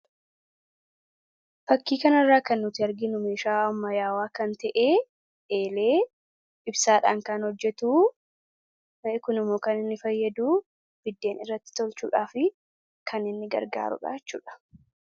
Fakkii kanarraa kan nuti arginu meeshaa ammayyaawaa kan ta'e, eelee, ibsaadhaan kan hojjetuu. Kun immoo kan inni fayyaduu biddeen irratti tolchuudhaafi kan inni gargaaru dhaa jechuu dha.